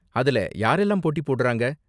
அதுல யாரெல்லாம் போட்டி போடுறாங்க?